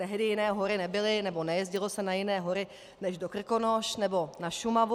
Tehdy jiné hory nebyly, nebo nejezdilo se na jiné hory než do Krkonoš nebo na Šumavu.